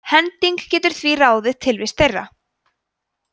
hending getur því ráðið tilvist þeirra